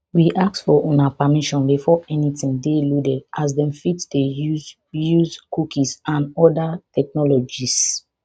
we ask for una permission before anytin dey loaded as dem fit dey use use cookies and oda technologies